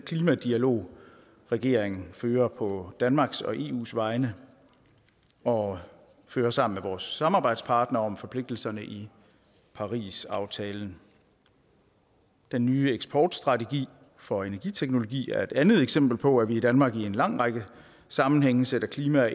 klimadialog regeringen fører på danmarks og eus vegne og fører sammen vores samarbejdspartnere om forpligtelserne i parisaftalen den nye eksportstrategi for energiteknologi er et andet eksempel på at vi i danmark i en lang række sammenhænge sætter klima